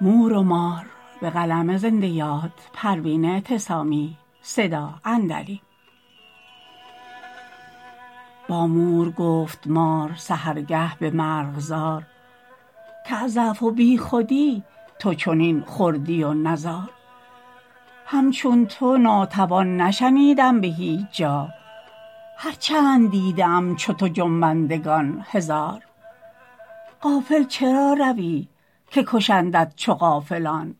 با مور گفت مار سحرگه بمرغزار کاز ضعف و بیخودی تو چنین خردی و نزار همچون تو ناتوان نشنیدم بهیچ جا هر چند دیده ام چو تو جنبندگان هزار غافل چرا روی که کشندت چو غافلان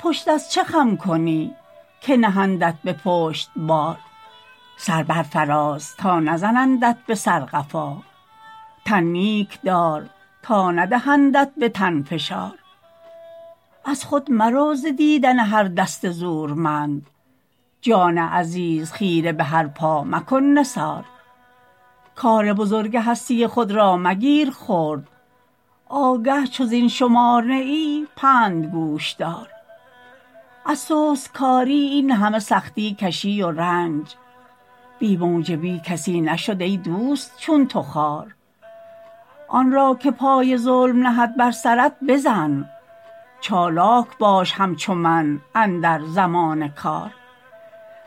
پشت از چه خم کنی که نهندت به پشت بار سر بر فراز تا نزنندت بسر قفا تن نیک دار تا ندهندت به تن فشار از خود مرو ز دیدن هر دست زورمند جان عزیز خیره بهر پا مکن نثار کار بزرگ هستی خود را مگیر خرد آگه چو زین شمار نه ای پند گوشدار از سست کاری اینهمه سختی کشی و رنج بی موجبی کسی نشد ایدوست چون تو خوار آن را که پای ظلم نهد بر سرت بزن چالاک باش همچو من اندر زمان کار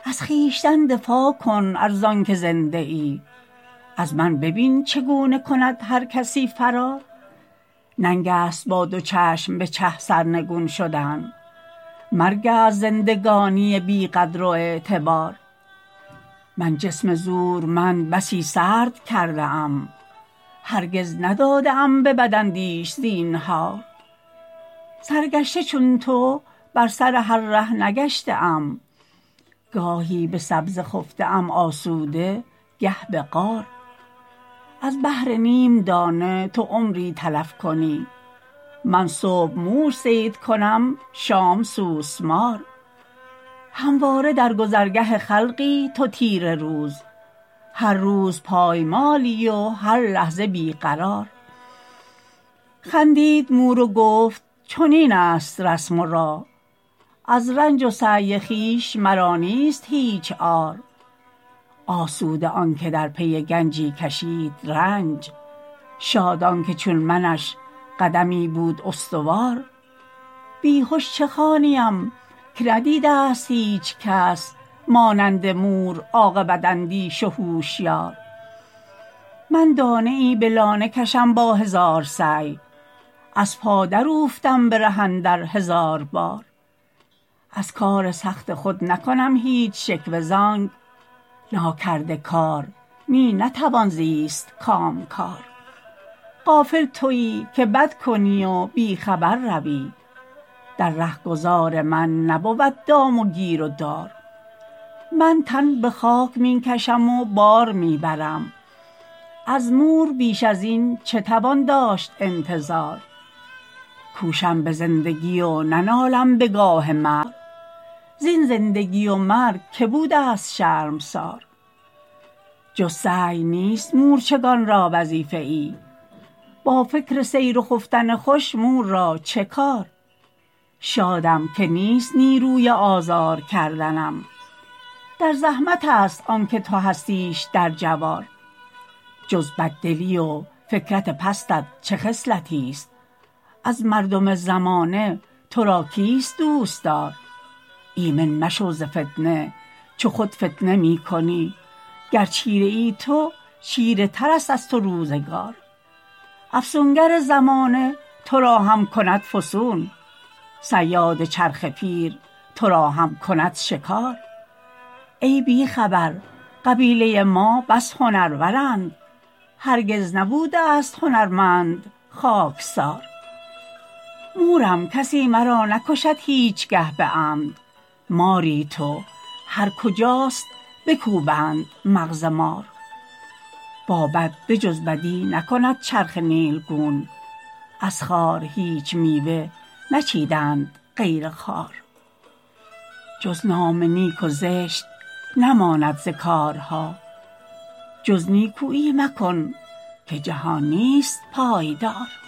از خویشتن دفاع کن ارزانکه زنده ای از من ببین چگونه کند هر کسی فرار ننگ است با دو چشم به چه سرنگون شدن مرگ است زندگانی بی قدر و اعتبار من جسم زورمند بسی سرد کرده ام هرگز نداده ام به بداندیش زینهار سرگشته چون تو بر سر هر ره نگشته ام گاهی به سبزه خفته ام آسوده گه به غار از بهر نیم دانه تو عمری تلف کنی من صبح موش صید کنم شام سوسمار همواره در گذرگه خلقی تو تیره روز هر روز پایمالی و هر لحظه بی قرار خندید مور و گفت چنین است رسم و راه از رنج و سعی خویش مرا نیست هیچ عار آسوده آنکه در پی گنجی کشید رنج شاد آنکه چون منش قدمی بود استوار بیهش چه خوانیم که ندیدست هیچ کس مانند مور عاقبت اندیش و هوشیار من دانه ای به لانه کشم با هزار سعی از پا دراوفتم به ره اندر هزار بار از کار سخت خود نکنم هیچ شکوه زانک ناکرده کار می نتوان زیست کامکار غافل تویی که بد کنی و بی خبر روی در رهگذار من نبود دام و گیر و دار من تن بخاک میکشم و بار میبرم از مور بیش ازین چه توان داشت انتظار کوشم بزندگی و ننالم بگاه مرگ زین زندگی و مرگ که بودست شرمسار جز سعی نیست مورچگان را وظیفه ای با فکر سیر و خفتن خوش مور را چه کار شادم که نیست نیروی آزار کردنم در زحمت است آنکه تو هستیش در جوار جز بددلی و فکرت پستت چه خصلتی است از مردم زمانه ترا کیست دوستدار ایمن مشو ز فتنه چو خود فتنه میکنی گر چیره ای تو چیره تر است از تو روزگار افسونگر زمانه ترا هم کند فسون صیاد چرخ پیر ترا هم کند شکار ای بی خبر قبیله ما بس هنرورند هرگز نبوده است هنرمند خاکسار مورم کسی مرا نکشد هیچگه بعمد ماری تو هر کجاست بکوبند مغز مار با بد به جز بدی نکند چرخ نیلگون از خار هیچ میوه نچیدند غیر خار جز نام نیک و زشت نماند ز کارها جز نیکویی مکن که جهان نیست پایدار